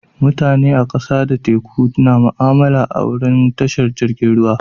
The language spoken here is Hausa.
Mutane a kasa da teku na mu'amala a'wurin tashar jirigin ruwa.